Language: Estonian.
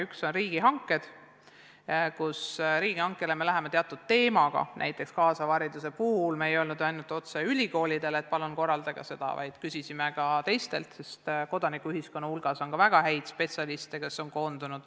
Üks on riigihanked, kus me läheneme teatud teemadega, näiteks kaasava hariduse puhul me ei öelnud ainult ülikoolidele, et palun korraldage seda, vaid küsisime ka teistelt, sest kodanikuühiskonnas on koondunud ka väga häid spetsialiste.